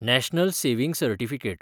national saving certificate